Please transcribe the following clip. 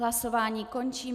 Hlasování končím.